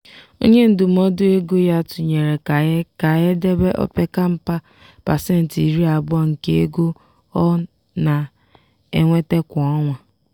onye ndụmọdụ ego ya tụnyere ka e ka e debe opeka mpa pasentị iri abụọ nke ego ọ na-enweta kwa ọnwa.